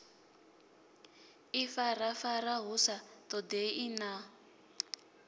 ifarafara hu sa ṱoḓei na